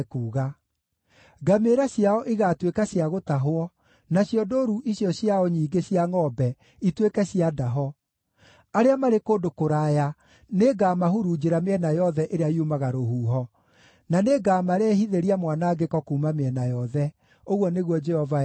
“Ngamĩĩra ciao igaatuĩka cia gũtahwo, nacio ndũũru icio ciao nyingĩ cia ngʼombe ituĩke cia ndaho. Arĩa marĩ kũndũ kũraya nĩngamahurunjĩra mĩena yothe ĩrĩa yumaga rũhuho. na nĩngamarehithĩria mwanangĩko kuuma mĩena yothe,” ũguo nĩguo Jehova ekuuga.